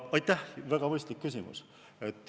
Aitäh, väga mõistlik küsimus!